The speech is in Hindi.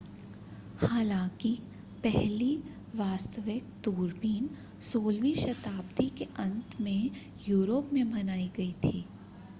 हालांकि पहली वास्तविक दूरबीन 16वीं शताब्दी के अंत में यूरोप में बनाई गई थी